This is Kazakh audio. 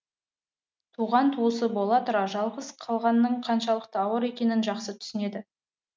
туған туысы бола тұра жалғыз қалғанның қаншалықты ауыр екенін жақсы түсінеді